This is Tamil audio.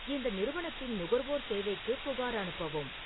இந்த நிறுவனத்தின் நுகர்வோர் சேவைக்கு புகார் அனுப்பவும்